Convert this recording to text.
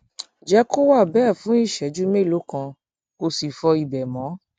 jẹ kó wà bẹẹ fún ìṣẹjú mélòó kan kó o sì fọ ibẹ mọ